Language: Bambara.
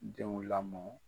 Denw lamɔ